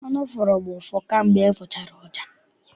Ọnụ fụrụ m ụfụ kamgbe m fụchara ọja.